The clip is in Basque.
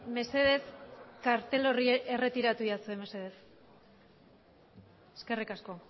mesedez kartel hori erretiratu egidazue mesedez eskerrik asko